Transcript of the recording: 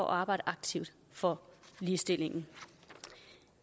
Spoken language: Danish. arbejde aktivt for ligestillingen